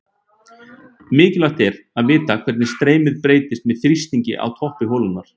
Mikilvægt er að vita hvernig streymið breytist með þrýstingi á toppi holunnar.